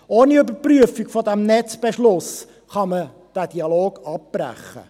Ohne Überprüfung des Netzbeschlusses kann man den Dialog abbrechen.